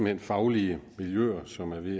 hen faglige miljøer som er ved